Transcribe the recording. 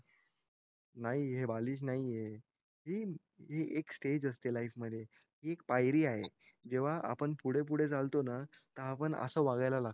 नाही हे बालिश नाहीये हि हि एक स्टेज असते लाईफ मध्ये हि एक पायरी आहे जेव्हा आपण पुढे पुढे चालतो ना असं वागायला लागतो